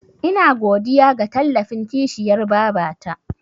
Ina godiya ga tallafin kishiyar babata.